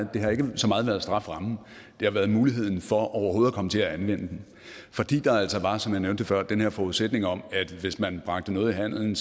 været strafferammen det har været muligheden for overhovedet at komme til at anvende den fordi der altså var som jeg nævnte før den her forudsætning om at hvis man bragte noget i handelen